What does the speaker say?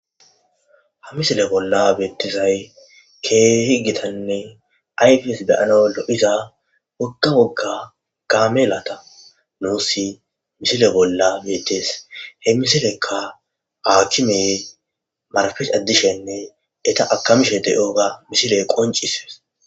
ha misile bolla beettisay kehigitanni ayfes deyano lo7iza wokga bogga gaamelata nuusi misile bolla beetes he misilekka aakimey marafes addishenne eta akamishe de7oga misile qoncisues